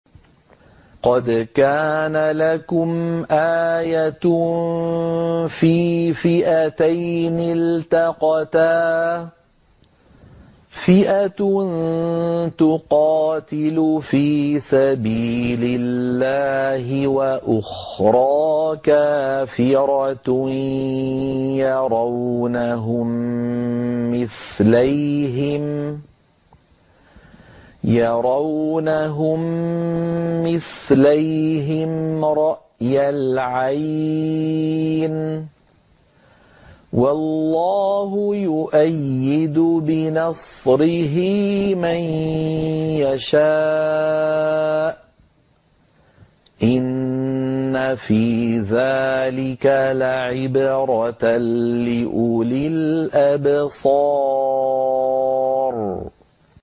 قَدْ كَانَ لَكُمْ آيَةٌ فِي فِئَتَيْنِ الْتَقَتَا ۖ فِئَةٌ تُقَاتِلُ فِي سَبِيلِ اللَّهِ وَأُخْرَىٰ كَافِرَةٌ يَرَوْنَهُم مِّثْلَيْهِمْ رَأْيَ الْعَيْنِ ۚ وَاللَّهُ يُؤَيِّدُ بِنَصْرِهِ مَن يَشَاءُ ۗ إِنَّ فِي ذَٰلِكَ لَعِبْرَةً لِّأُولِي الْأَبْصَارِ